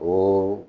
O